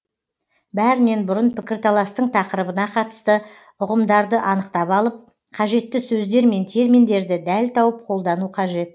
бәрінен бұрын пікірталастың тақырыбына қатысты ұғымдарды анықтап алып қажетті сөздер мен терминдерді дәл тауып қолдану қажет